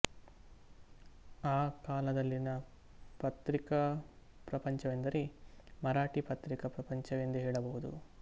ಆ ಕಾಲದಲ್ಲಿನ ಪತ್ರಿಕಾ ಪ್ರಪಂಚವೆಂದರೆ ಮರಾಠೀ ಪತ್ರಿಕಾ ಪ್ರಪಂಚವೆಂದೇ ಹೇಳಬಹುದು